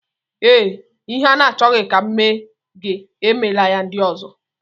Ee, Ihe ị na-achọghị ka e mee gị emela ya ndị ọzọ.